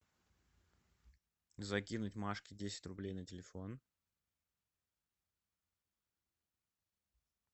закинуть машке десять рублей на телефон